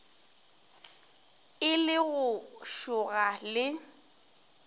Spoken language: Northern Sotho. e le go šoga le